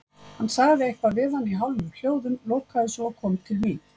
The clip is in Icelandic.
Hann sagði eitthvað við hana í hálfum hljóðum, lokaði svo og kom til mín.